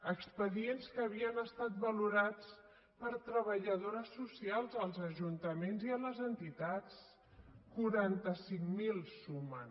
expedients que havien estat valorats per treballadores socials als ajuntaments i a les entitats quaranta cinc mil sumen